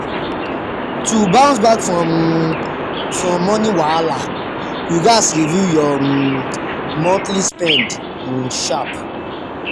to bounce back um from money wahala you gats review your um monthly spend um sharp.